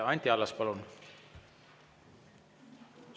Anti Allas, palun!